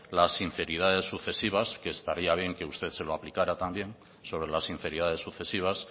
las sinceridades sucesivas que estaría bien que usted se lo aplicara también sobre las sinceridades sucesivas